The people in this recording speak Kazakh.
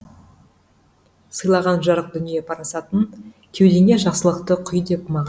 сыйлаған жарық дүние парасатын кеудеңе жақсылықты құй деп маған